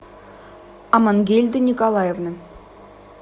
амангельда николаевна